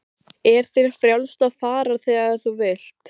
Er þér frjálst að fara þegar þú vilt?